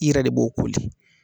I yɛrɛ de b'o koli